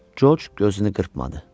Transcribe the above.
Corc gözünü qırpmadı.